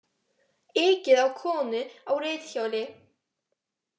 Ekið á konu á reiðhjóli